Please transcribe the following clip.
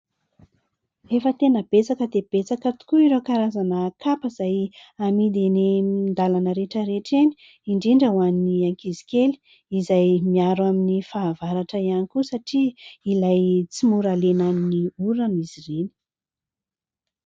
Efa tena betsaka dia betsaka tokoa ireo karazana kapa izay amidy eny an-dalana rehetrarehetra eny indrindra ho an'ny ankizy kely, izay miaro amin'ny fahavaratra ihany koa satria ilay tsy mora lenan'ny orana izy ireny.